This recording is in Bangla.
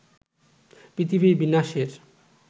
পৃথিবীর বিনাশের